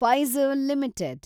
Pfizer limited